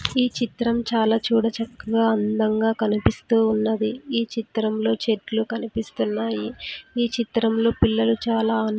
ఈ చిత్రం చాలా చూడచక్కగా అందంగా కనిపిస్తూ ఉన్నది ఈ చిత్రంలో చెట్లు కనిపిస్తున్నాయి ఈ చిత్రంలో పిల్లలు చాలా ఆన్--